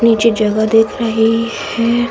नीचे जगह दिख रही है।